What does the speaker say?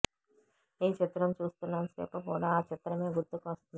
ఈ చిత్రం చూస్తున్నంత సేపు కూడా ఆ చిత్రమే గుర్తుకు వస్తుంది